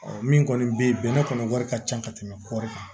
min kɔni bɛ yen bɛnɛ kɔni wari ka ca ka tɛmɛ kɔɔri kan